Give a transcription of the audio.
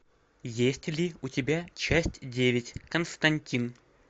есть ли у тебя часть девять константин